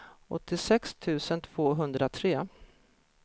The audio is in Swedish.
åttiosex tusen tvåhundratre